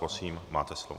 Prosím, máte slovo.